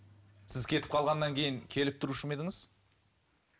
сіз кетіп қалғаннан кейін келіп тұрушы ма едіңіз